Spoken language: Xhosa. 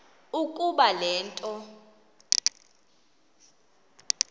ukuba le nto